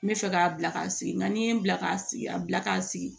N bɛ fɛ k'a bila k'a sigi nka n'i ye n bila k'a sigi a bila k'a sigi